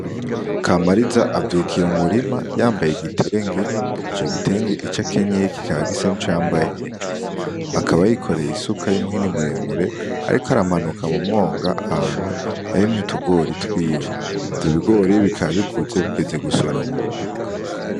Kamariza avyukiye mu murima yambaye igitenge ico gitenge ico akenyeye kikagisa ni co yambaye hejuru , akaba yikoreye isuka y'umphini muremure, ariko aramanuka mu mwonga ahanu yarimye utugori twiwe , ivyo bigori bikabikuze bigeze gusoromo.